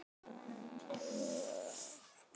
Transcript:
Louisa, hvað er á áætluninni minni í dag?